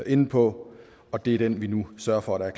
inde på og det er den vi nu sørger for der er